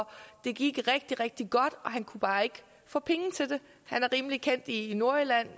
det gik rigtig rigtig godt og han kunne bare ikke få penge til det han er rimelig kendt i nordjylland